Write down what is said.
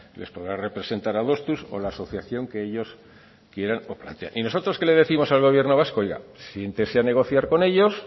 les podrá representar adostuz o la asociación que ellos quieran o planteen y nosotros qué les décimos al gobierno vasco oiga siéntese a negociar con ellos